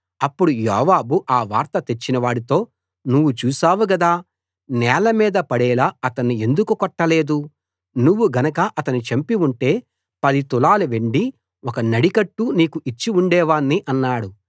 అప్పుడు యోవాబు ఆ వార్త తెచ్చినవాడితో నువ్వు చూశావు గదా నేలమీద పడేలా అతణ్ణి ఎందుకు కొట్టలేదు నువ్వు గనక అతణ్ణి చంపి ఉంటే పది తులాల వెండి ఒక నడికట్టు నీకు ఇచ్చి ఉండేవాణ్ణి అన్నాడు